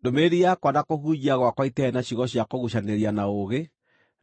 Ndũmĩrĩri yakwa na kũhunjia gwakwa itiarĩ na ciugo cia kũguucanĩrĩria na ũũgĩ,